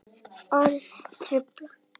Orð trufla.